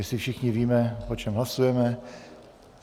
Jistě všichni víme, o čem hlasujeme.